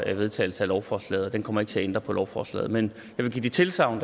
en vedtagelse af lovforslaget den kommer ikke til at ændre på lovforslaget men jeg vil give det tilsagn